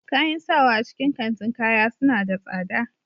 Kayan sawa a cikin kantin kaya suna da tsada